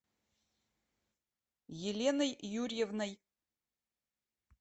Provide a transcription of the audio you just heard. еленой юрьевной